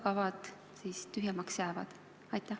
Aitäh!